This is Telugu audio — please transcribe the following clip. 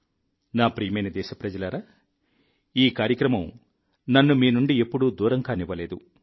నా ప్రియమైన దేశప్రజలారా ఈ కార్యక్రమం నన్ను మీ నుండి ఎప్పుడూ దూరం కానివ్వలేదు